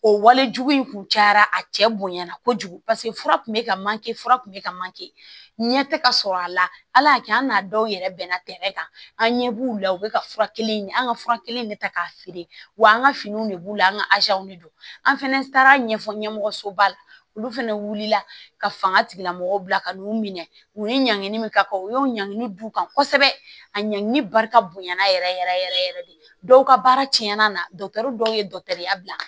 O wale jugu in kun cayara a cɛ bonyana kojugu paseke fura kun bɛ ka manke fura kun bɛ ka manke ɲɛ tɛ ka sɔrɔ a la ala y'a kɛ an n'a dɔw yɛrɛ bɛnna tɛrɛ kan an ɲɛ b'u la u bɛ ka fura kelen ɲini an ka fura kelen de ta k'a feere wa an ka finiw de b'u la an ka de don an fɛnɛ taara ɲɛfɔ ɲɛmɔgɔsoba la olu fɛnɛ wulila ka fanga tigilamɔgɔw bila ka n'u minɛ u ni ɲangini min ka kan u y'o ɲangini d'u kan kosɛbɛ a ɲangini barika bonyana yɛrɛ yɛrɛ yɛrɛ yɛrɛ de dɔw ka baara tiɲɛna na dɔgɔtɔrɔ ye dɔgɔtɔrɔya bila